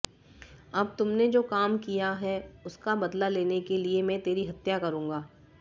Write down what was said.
अब तुमने जो काम किया है उसका बदला लेने के लिए मैं तेरी हत्या करूंगा